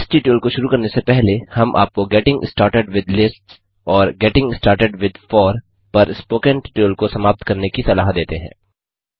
इस ट्यूटोरियल को शुरु करने से पहले हम आपको गेटिंग स्टार्टेड विथ लिस्ट्स और गेटिंग स्टार्टेड विथ फोर पर स्पोकन ट्यूटोरियल को समाप्त करने की सलाह देते हैं